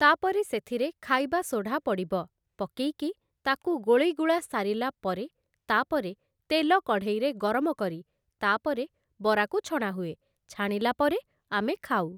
ତାପରେ ସେଥିରେ ଖାଇବା ସୋଢ଼ା ପଡ଼ିବ, ପକେଇକି ତାକୁ ଗୋଳେଇ ଗୁଳା ସ। ରିଲା ପରେ, ତାପରେ ତେଲ କଢ଼େଇରେ ଗରମ କରି, ତାପରେ ବରାକୁ ଛଣା ହୁଏ, ଛାଣିଲା ପରେ ଆମେ ଖାଉ ।